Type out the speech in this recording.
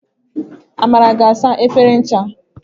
Amara ga asa efere ncha.